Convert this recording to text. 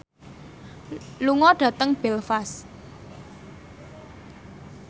lunga dhateng Belfast